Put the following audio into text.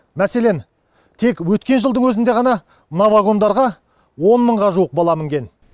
мәселен тек өткен жылдың өзінде ғана мына вагондарға он мыңға жуық бала мінген